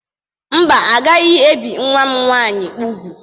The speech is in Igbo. Mba, agaghị ebi nwa m nwanyị úgwù.